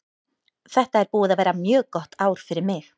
Þetta er búið að vera mjög gott ár fyrir mig.